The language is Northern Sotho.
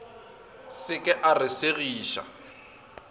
se ke a re segiša